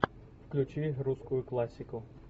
включи русскую классику